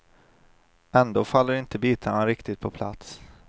Ändå faller inte bitarna riktigt på plats.